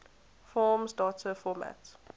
forms data format